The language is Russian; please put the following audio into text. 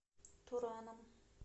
тураном